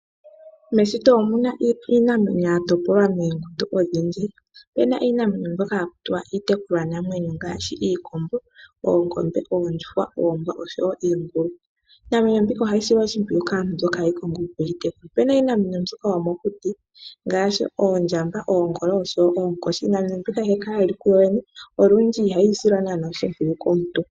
Meshito omu na iinamwenyo ya topolwa moongundu odhindji. Opu na mbyono haku tiwa iitekulwa namwenyo ngaashi iikombo, oongombe, oondjuhwa, oombwa oshowo iingulu. Iinamenyo mbika ohayi silwa oshimpwiyu kaantu. Opu na iinamwenyo yomokuti ngaashi oondjamba, oongolo noonkoshi. Iinamwenyo mbika ohayi kala yi li kuyoyene, olundji ihayi silwa naanaa oshimpwiyu komuntu.